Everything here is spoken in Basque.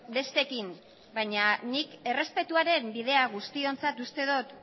besteekin baina nik errespetuaren bidea guztiontzat uste dut